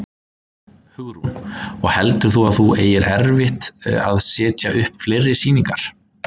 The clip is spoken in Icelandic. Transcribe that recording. Hugrún: Og heldur þú að þú eigir eftir að setja upp fleiri sýningar?